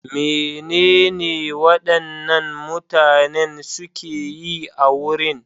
Menene waɗannan mutanen suke yi a wurin?